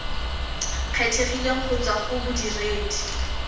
kgethegileng go tswa go bodiredi